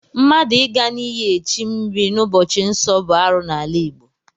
Mmadụ Ị ga n'iyi echi mmiri n'ụbọchị nsọ bụ arụ n'ala Igbo.